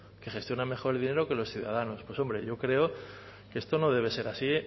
que gestionan mejor el dinero que los ciudadanos pues hombre yo creo que esto no debe ser así